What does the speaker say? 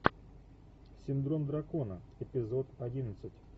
синдром дракона эпизод одиннадцать